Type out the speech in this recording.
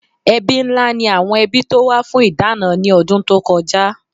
Ẹbí ńlá ni àwọn ẹbí tó wá fún ìdáná ní ọdún tó kọjá